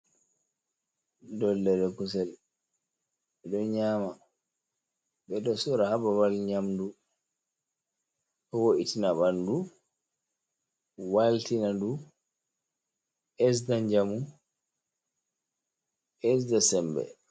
Dollere kusel edo nyama be do sora hababal nyamdu , do wo’itina bandu waltina du besda njamu besda sembe.